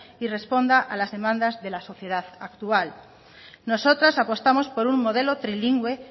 y responda a las demandas de la sociedad actual nosotras apostamos por un modelo trilingüe